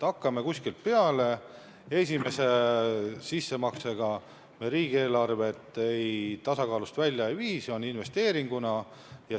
Hakkame kuskilt peale, esimese investeeringuga me riigieelarvet tasakaalust välja ei vii.